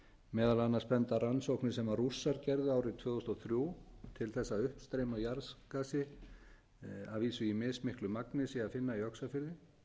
meðal annars benda rannsóknir sem rússar gerðu árið tvö þúsund og þrjú til þess að uppstreymi á jarðgasi að vísu í mismiklu magni sé að finna í öxarfirði